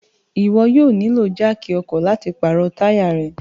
Iwọ yóò nilo jáákí ọkọ lati paro taya rẹ